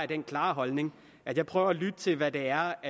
den klare holdning at jeg prøver at lytte til hvad det er